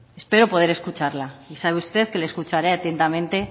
espero poder escucharla y sabe usted que le escucharé atentamente